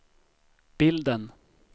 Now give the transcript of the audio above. bilden